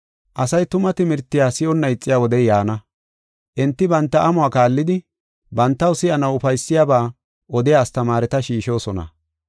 Asay tuma timirtiya si7onna ixiya wodey yaana. Enti banta amuwa kaallidi, bantaw si7anaw ufaysiyabaa odiya astamaareta shiishosona.